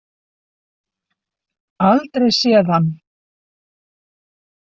Aldrei séð hann.